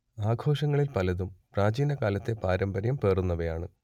ആഘോഷങ്ങളിൽ പലതും പ്രാചീനകാലത്തെ പാരമ്പര്യം പേറുന്നവയാണ്